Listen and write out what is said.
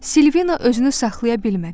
Silvina özünü saxlaya bilmədi.